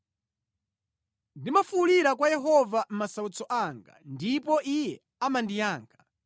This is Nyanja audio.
Ndimafuwulira kwa Yehova mʼmasautso anga, ndipo Iye amandiyankha.